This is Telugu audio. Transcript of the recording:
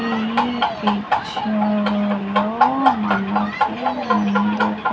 ఈ పిక్చర్ లో మనకు --